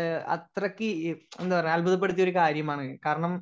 ഏഹ് അത്രയ്ക്ക് ഇ എന്താ പറഞ്ഞാ അത്ഭുതപ്പെടുത്തിയ ഒരു കാര്യമാണ് കാരണം